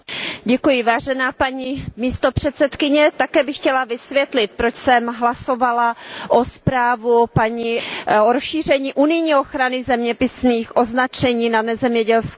Paní předsedající, také bych chtěla vysvětlit, proč jsem hlasovala pro zprávu paní Rozièrové o rozšíření unijní ochrany zeměpisných označení na nezemědělské produkty.